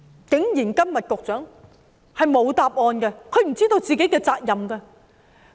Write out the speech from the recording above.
然而，局長今天竟然沒有答案，他不知道自己的責任。